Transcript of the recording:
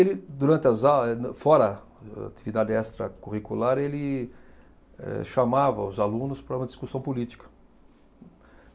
Ele, durante as a, eh no fora atividade extracurricular, ele eh chamava os alunos para uma discussão política.